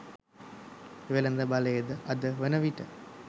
වෙළද බලයද අද වන විට